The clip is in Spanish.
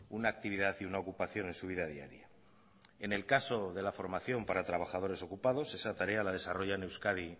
una actividad y una ocupación en su vida diaria en el caso de la formación para trabajadores ocupados esa tarea la desarrolla en euskadi